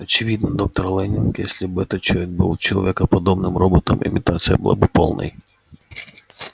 очевидно доктор лэннинг если бы этот человек был человекоподобным роботом имитация была бы полной